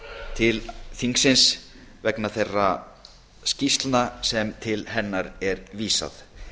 til þingsins vegna þeirra skýrslna sem til hennar er vísað